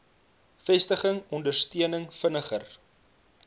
vestiging ondersteuning vinniger